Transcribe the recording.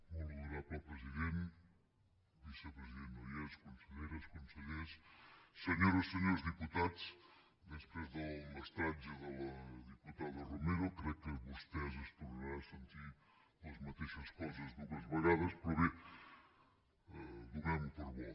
molt honorable president el vicepresident no hi és conselleres consellers senyores i senyors diputats després del mestratge de la diputada romero crec que vostès tornaran a sentir les mateixes coses dues vegades però bé donem ho per bo